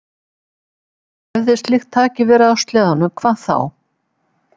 En hefði slíkt tæki verið á sleðanum, hvað þá?